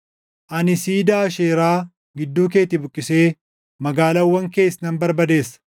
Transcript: Ani siidaa Aasheeraa gidduu keetii buqqisee magaalaawwan kees nan barbadeessa.